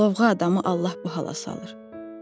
Lovğa adamı Allah bu hala salır.